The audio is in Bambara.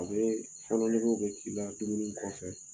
A bɛ fɔnɔ negew bɛ k'i la dumuni kɔfɛ